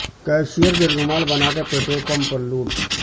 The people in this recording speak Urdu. کیشئر کو یرغمال بنا کر پٹرول پمپ پر لوٹ